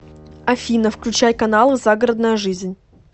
афина включай каналы загородная жизнь